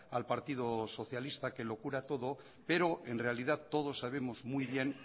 al partido socialista que lo cura todo pero en realidad todos sabemos muy bien